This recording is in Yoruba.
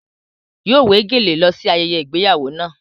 Yóò wé gèlè lọ sí ayẹyẹ ìgbéyàwó náà.